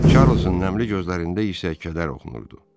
Çarlzın nəmli gözlərində isə kədər oxunurdu.